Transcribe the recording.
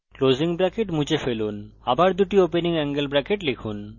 closing bracket মুছে ফেলুন আবার দুটি opening অ্যাঙ্গেল bracket লিখুন